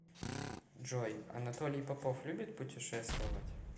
джой анатолий попов любит путешествовать